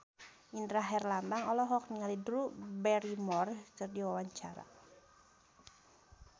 Indra Herlambang olohok ningali Drew Barrymore keur diwawancara